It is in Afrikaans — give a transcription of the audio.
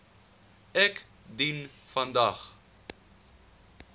ek dien vandag